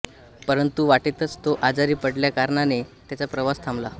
परंतु वाटेतच तो आजारी पडल्याकारणाने त्याचा प्रवास थांबला